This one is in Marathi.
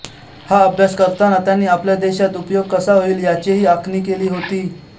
हा अभ्यास करताना त्यांनी आपल्या देशात उपयोग कसा होईल याचीही आखणी केली होती